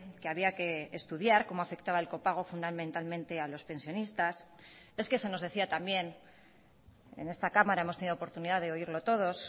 que había que estudiar cómo afectaba el copago fundamentalmente a los pensionistas es que se nos decía también en esta cámara hemos tenido oportunidad de oírlo todos